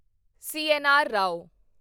CNR. Rao